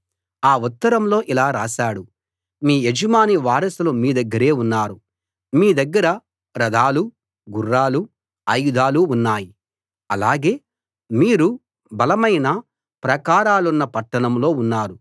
ఆ ఉత్తరంలో ఇలా రాశాడు మీ యజమాని వారసులు మీ దగ్గరే ఉన్నారు మీ దగ్గర రథాలూ గుర్రాలూ ఆయుధాలూ ఉన్నాయి అలాగే మీరు బలమైన ప్రాకారాలున్న పట్టణంలో ఉన్నారు